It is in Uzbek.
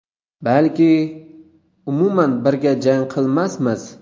Balki, umuman birga jang qilmasmiz.